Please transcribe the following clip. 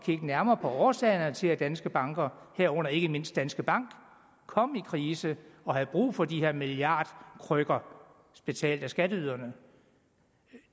nærmere på årsagerne til at danske banker herunder ikke mindst danske bank kom i krise og havde brug for de her milliardkrykker betalt af skatteyderne